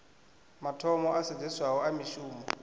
mathomo a sedzeswaho a mishumo